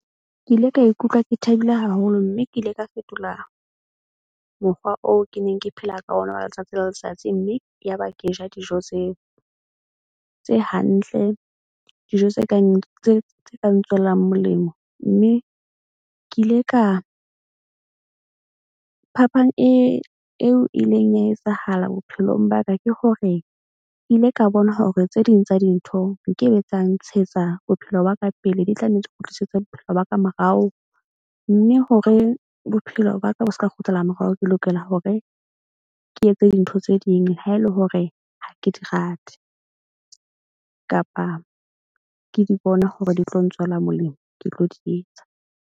Ke ile ka ikutlwa ke thabile haholo mme ke ile ka fetola mokgwa oo ke neng ke phela ka ona wa letsatsi le letsatsi. Mme yaba ke ja dijo tseo tse hantle. Dijo tse kang tswelang molemo, mme ke ile ka phapang e eo ileng ya etsahala bophelong ba ka ke hore ke ile ka bona hore tse ding tsa dintho nkebe tsa ntshetsa bophelo ba ka pele. Di tla nne di kgutlisetse bophelo ba ka morao. Mme hore bophelo baka bo seka kgutlela morao. Ke lokela hore ke etse dintho tse ding ha ele hore ha ke di rate, kapa ke di bona hore di tlo ntswela molemo, ke tlo di etsa.